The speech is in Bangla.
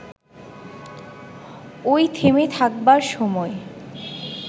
ওই থেমে থাকবার সময়